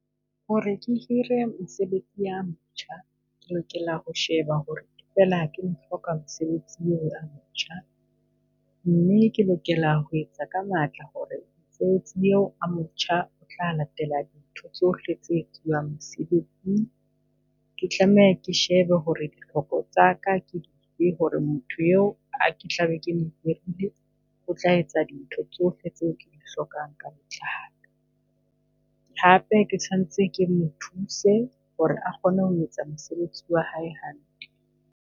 Hore ke hire mosebetsi a motjha, ke lokela ho sheba hore feela ke mo hloka mosebetsi eo a motjha. Mme ke lokela ho etsa ka matla hore mesebetsi eo a motjha o tla latela dintho tsohle tse etsiwang mesebetsing. Ke tlameha ke shebe hore ditlhoko tsaka ke dife hore motho eo ke tla be ke mo hirile. O tla etsa dintho tsohle tseo ke di hlokang ka botlalo. Hape ke sanetse ke mo thuse hore a kgone ho etsa mosebetsi wa hae hantle.